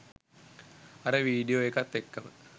අර වීඩියෝ එකත් එක්කම